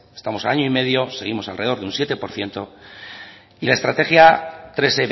estamos a año y medio seguimos alrededor de un siete por ciento y la estrategia tres